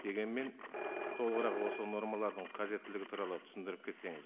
дегенмен толығырақ осы нормалардың қажеттілігі туралы түсіндіріп кетсеңіз